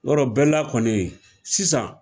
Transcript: Yarɔ bɛla kɔni sisan